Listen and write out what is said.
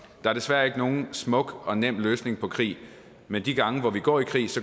er desværre ikke nogen smuk og nem løsning på krig men de gange hvor vi går i krig